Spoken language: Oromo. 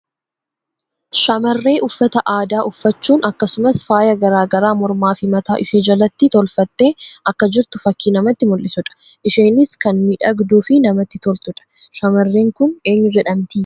Shamarree uffata aadaa uffachuun akkasumas faaya garaa garaa mormaa fi mataa ishee jalatti tolfattee akka jirtu fakkii namatti mullisuu dha. Isheenis kan miidhagduu fi namatti toltuu dha. Shamarreen kun eenyu jedhamti?